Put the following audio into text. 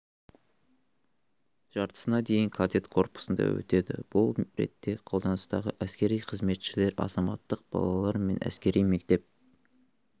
жартысына дейін кадет корпусында өтеді бұл ретте қолданыстағы әскери қызметшілер азаматтық балалар мен әскери мектеп